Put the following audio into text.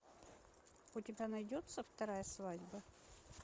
у тебя найдется вторая свадьба